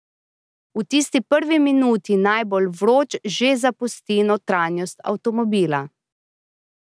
V tisti prvi minuti najbolj vroč že zapusti notranjost avtomobila.